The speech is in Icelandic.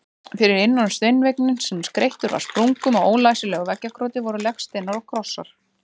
Fyrir innan steinvegginn, sem skreyttur var sprungum og ólæsilegu veggjakroti, voru legsteinar og krossar.